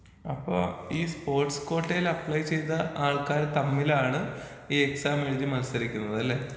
അപ്പോ ഈ സ്പോട്ട്സ് കോട്ടയിലപ്ലൈ ചെയ്ത ആൾക്കാര് തമ്മിലാണ് ഈ എക്സാം എഴുതി മത്സരിക്കുന്നതല്ലേ?